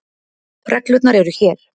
Reglurnar eru hér.